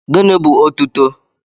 Gịnị bú otuto?